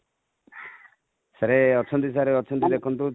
sir ଅଛନ୍ତି sir ଅଛନ୍ତି ଦେଖନ୍ତୁ